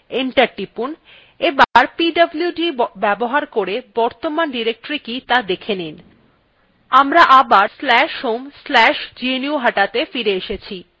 এবার pwd ব্যবহার করে বর্তমান directory কি ত়া দেখে নেওয়া যাক আমার আবার/home/gnuhataত়ে ফিরে এসেছি